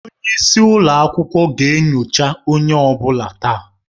Onye isi ụlọ akwụkwọ ga-enyocha onye ọ bụla taa.